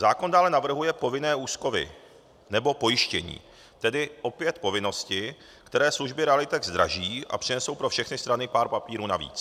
Zákon dále navrhuje povinné úschovy nebo pojištění, tedy opět povinnosti, které služby realitek zdraží a přinesou pro všechny strany pár papírů navíc.